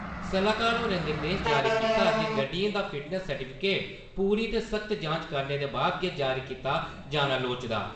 सलाह्कार होरें निर्देश जारी कीता जे गड्डियें दा फिटनेस सर्टीफिकेट पूरी ते सख्त जांच करने दे बाद गै जारी कीता जाना लोड़चदा।